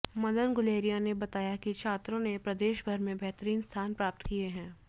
मदन गुलेरिया ने बताया कि छात्रों ने प्रदेश भर में बेहतरीन स्थान प्राप्त किए हैं